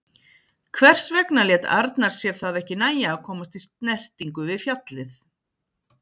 Hvers vegna lét Arnar sér það ekki nægja að komast í snertingu við fjallið?